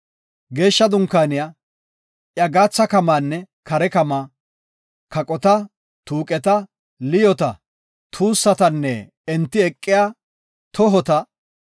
Geeshsha Dunkaaniya, iya gaatha kamaanne kare kamaa, kaqota, tuuqeta, liyoota, tuussatanne enti eqiya tohota;